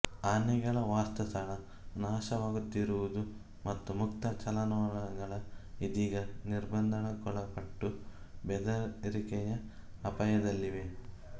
ಆನೆಗಳ ವಾಸಸ್ಥಳ ನಾಶವಾಗುತ್ತಿರುವುದು ಮತ್ತು ಮುಕ್ತ ಚಲನವಲನಗಳು ಇದೀಗ ನಿರ್ಬಂಧಕ್ಕೊಳಪಟ್ಟು ಬೆದರಿಕೆಯ ಅಪಾಯದಲ್ಲಿವೆ